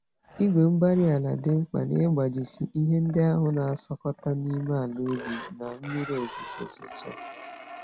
igwe-mgbárí-ala dị mkpa n'ịgbajisi ihe ndị ahụ n'asụkọta n'ime àlà ubi, na mmiri ozuzo zochaa